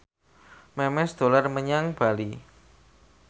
Memes dolan menyang Bali